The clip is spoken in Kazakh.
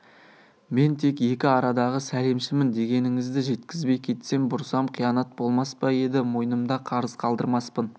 мен тек екі арадағы сәлемшімін дегеніңізді жеткізбей кетсем бұрсам қиянат болмас па еді мойнымда қарыз қалдырмаспын